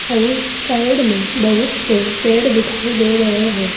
अउर साइड में बहुत से पेड़ दिखाई दे रहे हैं।